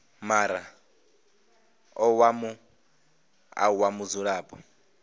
muraḓo wa muṱa wa mudzulapo